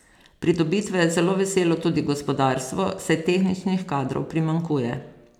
Pridobitve je zelo veselo tudi gospodarstvo, saj tehničnih kadrov primanjkuje.